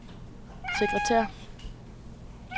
sekretær